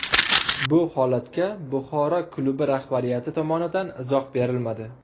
Bu holatga Buxoro klubi rahbariyati tomonidan izoh berilmadi.